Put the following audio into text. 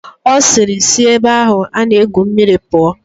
Ọ sịịrị, sị ebe ahụ a na-egwu mmiri pụọ!